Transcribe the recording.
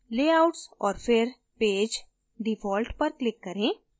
layouts और फिर page default पर click करें